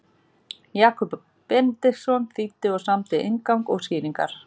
Jakob Benediktsson þýddi og samdi inngang og skýringar.